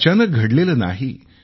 हे अचानक घडलेले नाही